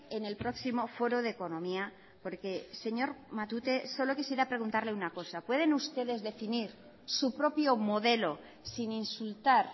en el próximo foro de economía porque señor matute solo quisiera preguntarle una cosa pueden ustedes definir su propio modelo sin insultar